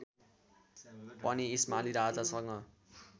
पनि इस्माली राजासँग